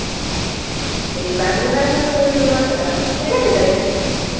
ಈ Bangalore Bangalore ಅಂತ ಹೇಳುದು ಮಾತ್ರ .